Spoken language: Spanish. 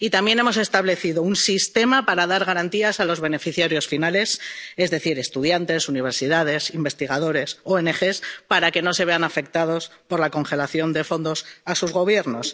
Y también hemos establecido un sistema para dar garantías a los beneficiarios finales —es decir, estudiantes, universidades, investigadores, ONG— para que no se vean afectados por la congelación de fondos a sus gobiernos.